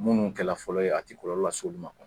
Minnu kɛlɛ fɔlɔ ye a tɛ kɔlɔlɔ las'unma.